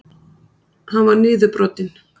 Hann var niðurbrotinn.